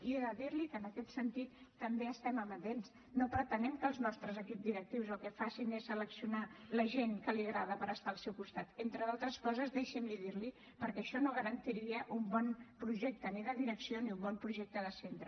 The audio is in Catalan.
i he de dirli que en aquest sentit també hi estem amatents no pretenem que els nostres equips directius el que facin és seleccionar la gent que li agrada per estar al seu costat entre d’altres coses deixi’m dirliho perquè això no garantiria ni un bon projecte de direcció ni un bon projecte de centre